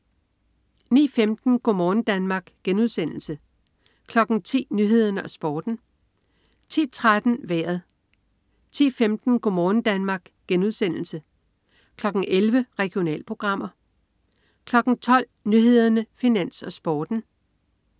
09.15 Go' morgen Danmark* (man-fre) 10.00 Nyhederne og Sporten (man-fre) 10.13 Vejret (man-fre) 10.15 Go' morgen Danmark* (man-fre) 11.00 Regionalprogrammer (man-fre) 12.00 Nyhederne, Finans, Sporten (man-fre)